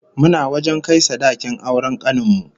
Muna wajen kai sadakin auren kanin mu